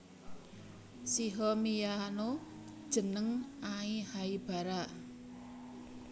Shiho miyano jeneng Ai Haibara